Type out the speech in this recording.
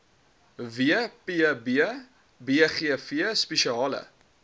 wbp bgv spesiale